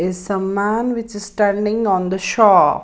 Is some man which is standing on the shop.